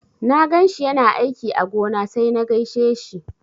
Na ganshi yana aiki a gona sai na gaishe shi.